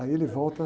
Aí ele volta.